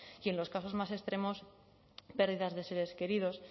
y en los casos más extremos pérdidas de seres queridos